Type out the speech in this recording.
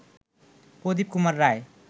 প্রদীপ Kumar রায়